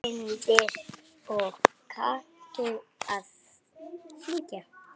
Sindri: Og kanntu að syngja?